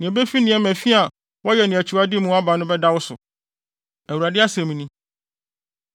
Nea ebefi nneɛma fi a woyɛ ne wʼakyiwade mu aba no bɛda wo so, Awurade asɛm ni.